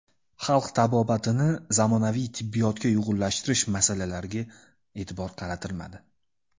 Xalq tabobatini zamonaviy tibbiyotga uyg‘unlashtirish masalalariga e’tibor qaratilmadi.